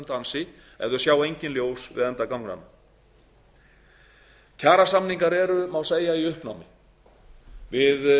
dansi ef þau sjá engin ljós við enda ganganna kjarasamningar eru má segja í uppnámi við